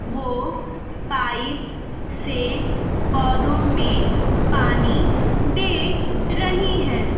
वो पाइप से पौधों में पानी दे रही हैं।